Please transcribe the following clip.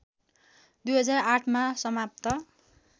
२००८ मा समाप्त